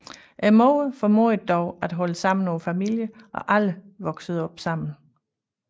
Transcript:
Moderen formåede dog at holde sammen på familien og alle voksede op sammen